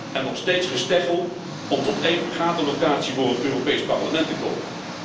En nog steeds gesteggel om tot één vergaderlocatie voor het Europees Parlement te komen.